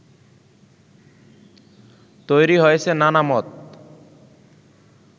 তৈরি হয়েছে নানা মত